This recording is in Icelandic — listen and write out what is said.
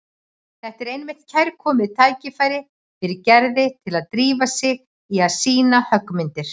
Þetta er einmitt kærkomið tækifæri fyrir Gerði til að drífa sig í að sýna höggmyndir.